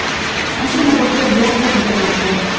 mashina va pul bilan taqdirlandi.